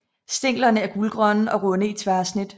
Stænglerne er gulgrønne og runde i tværsnit